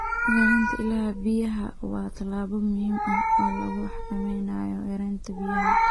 Ilaalinta ilaha biyaha waa tallaabo muhiim ah oo lagu xakameynayo yaraanta biyaha.